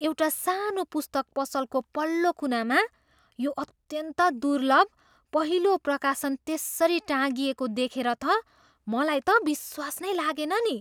एउटा सानो पुस्तक पसलको पल्लो कुनामा यो अत्यन्त दुर्लभ पहिलो प्रकाशन त्यसरी टाँगिएको देखेर त मलाई त विश्वास नै लागेन नि।